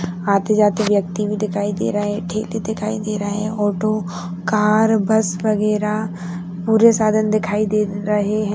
आते जाते व्यक्ति भी दिखाई दे रहे हैं ठीक ही दिखाई दे रहे हैं ऑटो कार बस वगैरा पूरे साधन दिखाई दे रहे हैं।